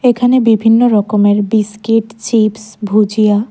এখানে বিভিন্ন রকমের বিস্কিট চিপস ভুজিয়া--